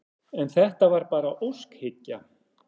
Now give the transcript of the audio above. En þetta var bara óskhyggja.